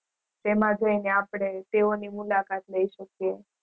તેમાં જય ને આપડે તેઓ ની મુલાકાત લય શકીયે